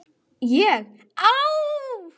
ÉG Á